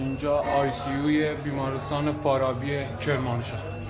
İncə Aysiyu xəstəxana Farabiyə Kermanşah.